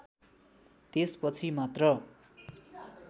त्यसपछि मात्र